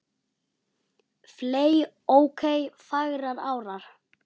fley ok fagrar árar